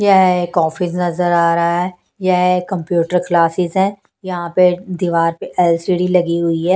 यह कॉफी नजर आ रहा है यह कंप्यूटर क्लासेस है यहां पे दीवार प एल_सी_डी लगी हुई है।